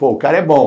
Pô, o cara é bom.